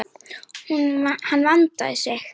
Hann vandaði sig.